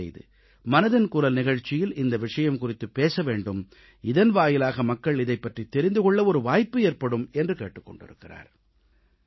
தயவுசெய்து மனதின் குரல் நிகழ்ச்சியில் இந்த விஷயம் குறித்துப் பேச வேண்டும் இதன் வாயிலாக மக்கள் இதைப் பற்றித் தெரிந்து கொள்ள ஒரு வாய்ப்பு ஏற்படும் என்று கேட்டுக் கொண்டிருக்கிறார்